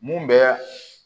Mun bɛ